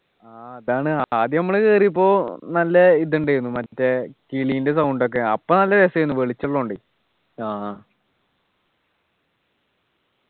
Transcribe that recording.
ആഹ് അതാണ് ആദ്യം നമ്മള് കേറിയപ്പോ നല്ല ഇതുണ്ടായിരുന്നു